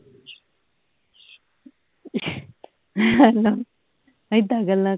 ਏਦਾਂ ਏਦਾਂ ਗੱਲਾਂ